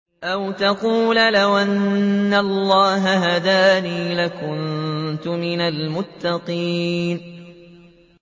أَوْ تَقُولَ لَوْ أَنَّ اللَّهَ هَدَانِي لَكُنتُ مِنَ الْمُتَّقِينَ